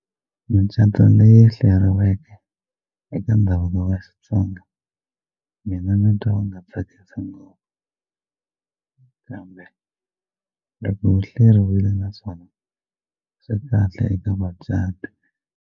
Micato leyi hleriweke eka ndhavuko wa Xitsonga mina ni twa u nga tsakisi ngopfu kambe loko u hleriwile naswona swi kahle eka vacati.